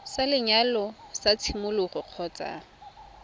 sa lenyalo sa tshimologo kgotsa